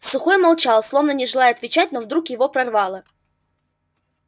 сухой молчал словно не желая отвечать но вдруг его прорвало